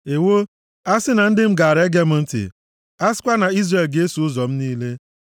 “Ewoo, a sị na ndị m gaara ege m ntị, a sịkwa na Izrel ga-eso ụzọ m niile.